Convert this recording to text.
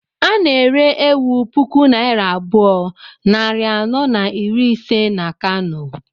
A na-ere ewu puku naira abụọ, nari anọ na iri ise na Kano